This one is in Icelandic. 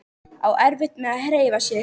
Á erfitt með að hreyfa sig.